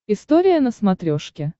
история на смотрешке